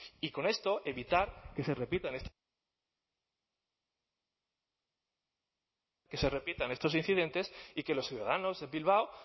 y con esto evitar que se repitan estos incidentes y que los ciudadanos de bilbao